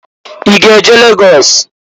I ga-eje Lagọs?